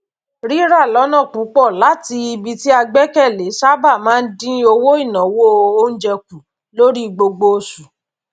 rírà lọnà pùpọ láti ibi tí a gbẹkẹlé sábà máa dín ináwó oúnjẹ kù lórí gbogbo oṣù